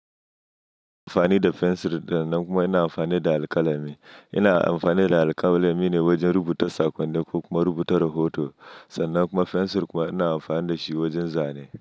Ina amfani da fensir, sannan kuma ina amfani da alƙalami. Ina amfani da alƙalami ne wajen rubuta sakonni ko kuma rubuta rahoto, sannan kuma fensir kuma ina amfani da shi wajen zane.